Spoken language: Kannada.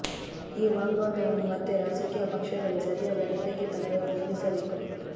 ಈ ವಾಗ್ವಾದವನ್ನು ಮತ್ತೆ ರಾಜಕೀಯ ಪಕ್ಷಗಳೇ ಸರಿಯಾದ ನೆಲೆಗೆ ತಂದು ನಿಲ್ಲಿಸಬೇಕು